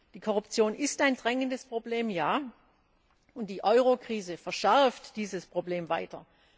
Die Korruption ist ein drängendes Problem, ja, und die Eurokrise verschärft dieses Problem weiter.